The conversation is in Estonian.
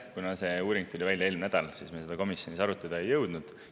Kuna see uuring tuli välja eelmine nädal, siis me seda komisjonis arutada ei jõudnud.